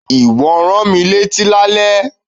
Ìwọ rán mi létí lálẹ́.